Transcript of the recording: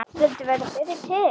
Vildu verða fyrri til.